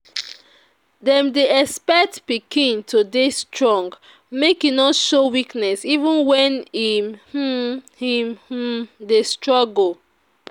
Dem dey expect pikin to dey strong, make e no show weakness even when im um im um dey struggle.